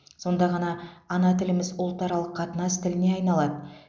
сонда ғана ана тіліміз ұлтаралық қатынас тіліне айналады